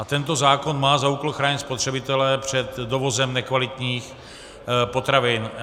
A tento zákon má za úkol chránit spotřebitele před dovozem nekvalitních potravin.